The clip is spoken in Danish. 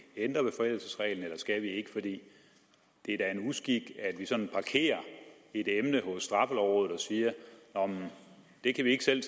ændre ved forældelsesreglen eller skal vi ikke for det er da en uskik at vi sådan parkerer et emne hos straffelovrådet og siger nå men det kan vi ikke selv